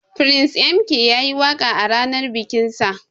Prince M.K yayi waka a ranan bikin sa.